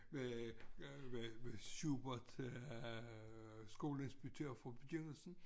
Med med med Schubert øh skoleinspektør for begyndelsen